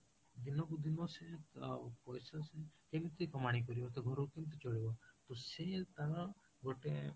ଦିନକୁ ଦିନ ସେ ତ ପଇସା ସେ କେମିତି କମେଇକି ଆଣିବ ତା ଘରକୁ କେମିତି ଚଲେଇବ ତ ସେ ତାର ଗୋଟେ